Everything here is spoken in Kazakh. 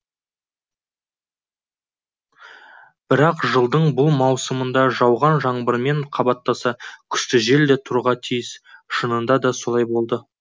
бірақ жылдың бұл маусымында жауған жаңбырмен қабаттаса күшті жел де тұруға тиіс шынында да солай болды